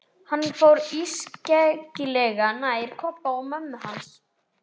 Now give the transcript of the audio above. Hann fór ískyggilega nærri Kobba og mömmu hans.